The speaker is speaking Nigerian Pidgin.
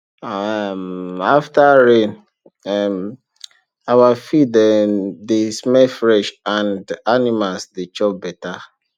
um after rain um our field um dey smell fresh and animals dey chop better